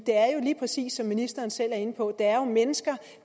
det er jo lige præcis som ministeren selv er inde på mennesker